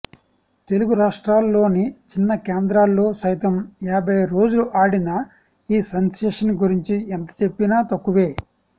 తెలుగు రాష్ట్రాల్లోని చిన్న కేంద్రాల్లో సైతం యాభై రోజులు ఆడిన ఈ సెన్సేషన్ గురించి ఎంత చెప్పినా తక్కువే